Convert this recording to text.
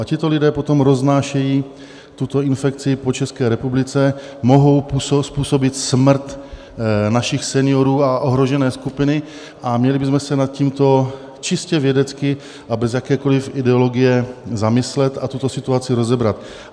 A tito lidé potom roznášejí tuto infekci po České republice, mohou způsobit smrt našich seniorů a ohrožené skupiny a měli bychom se nad tímto čistě vědecky a bez jakékoliv ideologie zamyslet a tuto situaci rozebrat.